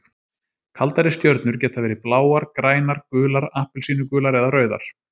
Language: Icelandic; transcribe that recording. Kaldari stjörnur geta verið bláar, grænar, gular, appelsínugular eða rauðar.